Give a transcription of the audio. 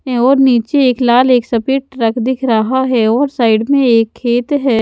और नीचे एक लाल एक सफेद ट्रक दिख रहा है और साइड में एक खेत है।